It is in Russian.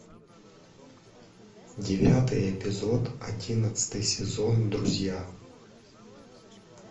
девятый эпизод одиннадцатый сезон друзья